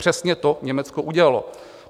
Přesně to Německo udělalo.